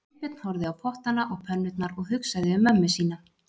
Sveinbjörn horfði á pottana og pönnurnar og hugsaði um mömmu sína